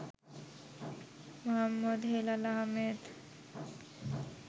Md. Helal Ahmed